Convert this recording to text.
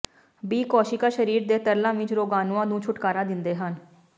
B ਕੋਸ਼ੀਕਾ ਸਰੀਰ ਦੇ ਤਰਲਾਂ ਵਿਚ ਰੋਗਾਣੂਆਂ ਨੂੰ ਛੁਟਕਾਰਾ ਦਿੰਦੇ ਹਨ